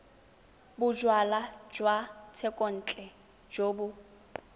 bojalwa jwa thekontle jo bo